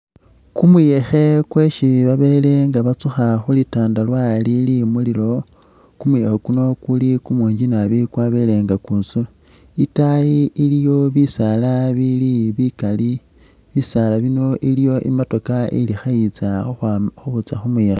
Kumuyekhe kwesi babele nga batsukha khu litandarwa lili mu lilowo. Kumuyekhe kuno kuli kumungi nabi kwabele nga kwitsula. Itaayi iliwo bisaala bili bikali, bisaala iliwo i'motokha ili khayitsa khukhwa khayitsa khu muyekhe.